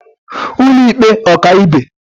ụlọịkpe ọkaibe